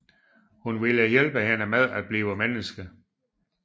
Hun ville hjælpe hende med at blive menneske